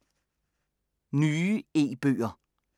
Nye e-bøger